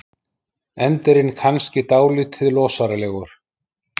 Endirinn kannski dálítið losaralegur.